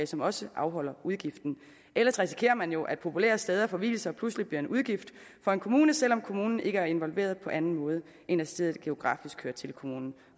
som også afholder udgiften ellers risikerer man jo at populære steder for vielser pludselig bliver en udgift for en kommune selv om kommunen ikke er involveret på anden måde end at stedet geografisk hører til kommunen